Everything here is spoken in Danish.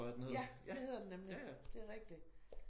Ja det hedder den nemlig det rigtig